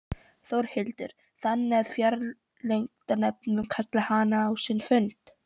Þórhildur: Þannig að fjárlaganefnd mun kalla hana á sinn fund?